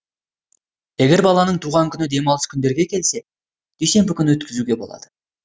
егер баланың туған күні демалыс күндерге келсе дүйсенбі күні өткізуге болады